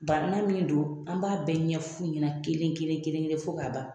Bana min don , an b'a bɛɛ ɲɛf'u ɲɛna kelen-kelen-kelen-kelen fo ka ban.